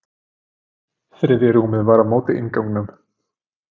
Þriðja rúmið var á móti innganginum.